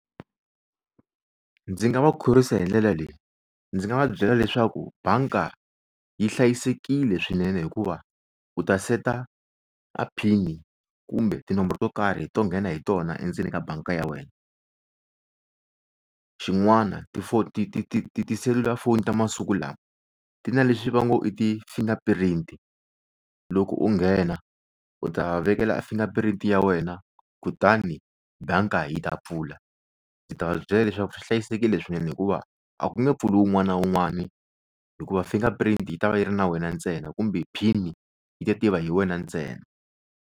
Ndzi nga va khorwisa hi ndlela leyi ndzi nga va byela leswaku banka yi hlayisekile swinene hikuva u ta seta a PIN kumbe tinomboro to karhi to nghena hi tona endzeni ka banka ya wena xin'wana tifoni ti ti ti ti tiselulafoni ta masiku lawa ti na leswi va ngo i ti-finger print loko u nghena u ta vekela finger print ya wena kutani banka yi ta pfula ndzi ta va byela leswaku swi hlayisekile swinene hikuva a ku nge pfuli wun'wani na wun'wani hikuva finger print yi ta va yi ri na wena ntsena kumbe PIN yi ta tiviwa hi wena ntsena.